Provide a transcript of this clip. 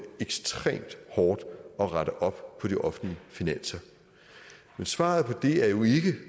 ekstremt hårdt at rette op på de offentlige finanser men svaret på det er jo ikke